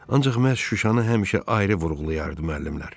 Ancaq məhz Şuşanı həmişə ayrı vurğulayardı müəllimlər.